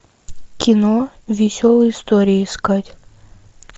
кино веселые истории искать